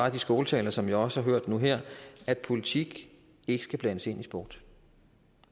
af de skåltaler som jeg også har hørt nu her at politik ikke skal blandes ind i sport